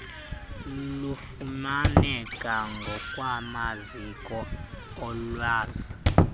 lufumaneke ngokwamaziko olwazi